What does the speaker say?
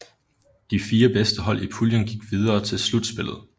De fire bedste hold i puljen gik videre til slutspillet